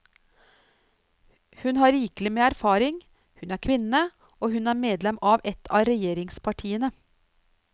Hun har rikelig med erfaring, hun er kvinne og hun er medlem av et av regjeringspartiene.